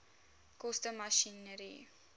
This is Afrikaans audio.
koste masjinerie